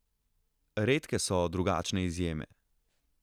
Redke so drugačne izjeme.